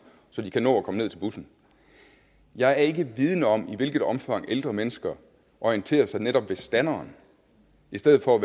så de kan nå at komme ned til bussen jeg er ikke vidende om i hvilket omfang ældre mennesker orienterer sig netop ved standeren i stedet for